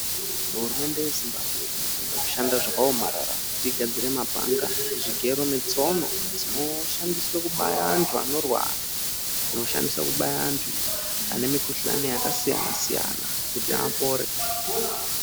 Hurumende yeZimbabwe inoshanda zvakaomarara kuti igadzire mapanga, zvigero netsono zvinoshandiswe kubaya vantu vanorwara dzinoshandisa kubaya vantu vane mukuhlani yakasiyana siyana kuti apore.